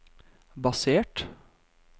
basert